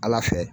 Ala fɛ